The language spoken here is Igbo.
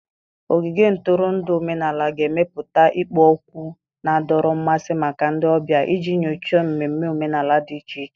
Ogige ntụrụndụ omenala ga-emepụta ikpo okwu na-adọrọ mmasị maka ndị ọbịa iji nyochaa mmemme omenala dị iche iche.